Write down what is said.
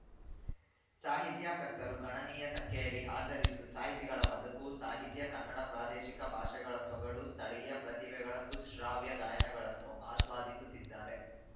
ಸಾಹಿತ್ಯಾಸಕ್ತರು ಗಣನೀಯ ಸಂಖ್ಯೆಯಲ್ಲಿ ಹಾಜರಿದ್ದು ಸಾಹಿತಿಗಳ ಬದುಕು ಸಾಹಿತ್ಯ ಕನ್ನಡ ಪ್ರಾದೇಶಿಕ ಭಾಷೆಗಳ ಸೊಗಡು ಸ್ಥಳೀಯ ಪ್ರತಿಭೆಗಳ ಸುಶ್ರಾವ್ಯ ಗಾಯನಗಳನ್ನು ಆಸ್ವಾಧಿಸುತ್ತಿದ್ದಾರೆ